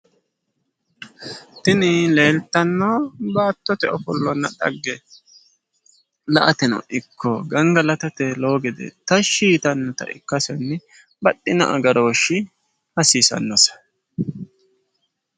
Tini leeltanno baattote ofollonna dhagge la"ateno ikko gangalatate lowo gede tashshi yitannota ikkasenni baxxino agarooshshi hasiisannose.